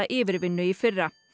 yfirvinnu í fyrra